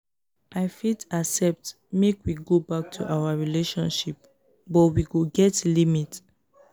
i fit accept make we go back to our relationship but we go get limit.